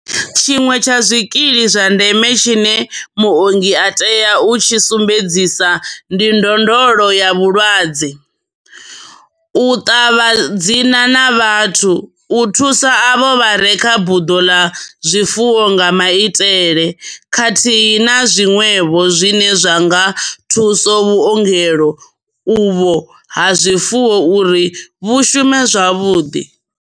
Tshiṅwe tsha zwikili zwa ndeme tshine muongi a tea u tshi sumbedzisa ndi ndondolo ya mulwadze, u ṱavha dzina na vhathu, u thusa avho vha re kha buḓo ḽa zwifuwo nga maitele, khathihi na zwiṅwevho zwine zwa nga thusa vhuongelo uvho ha zwifuwo uri vhu shume zwavhuḓi.